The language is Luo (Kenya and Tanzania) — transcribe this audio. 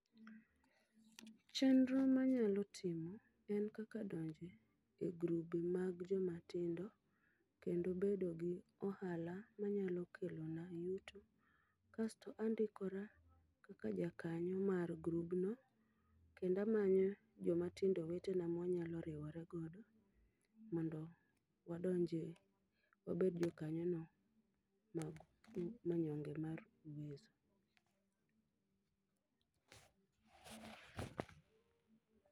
Chendro manyalo timo en kaka donje e grube mag joma tindo kendo bedo gi ohala manyalo kelona yuto. Kasto andikora kaka ja kanyo mar grubno, kendo amanyo joma tindo wetena mwanyalo riwora godo. Mondo wadonjie, wabed jokanyo no mag Manyonge mar Uwezo.